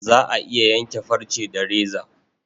Za a iya yanke farce da reza.